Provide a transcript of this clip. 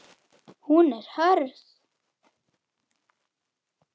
Hún er hörð.